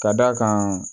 Ka d'a kan